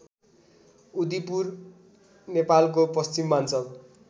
उदिपुर नेपालको पश्चिमाञ्चल